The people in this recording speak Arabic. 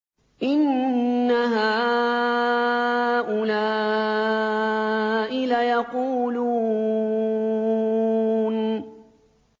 إِنَّ هَٰؤُلَاءِ لَيَقُولُونَ